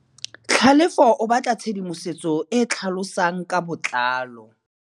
Tlhalefô o batla tshedimosetsô e e tlhalosang ka botlalô.